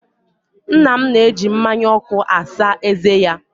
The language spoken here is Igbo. Nna nna m na-eji mmánya ọkụ asa ezé ya.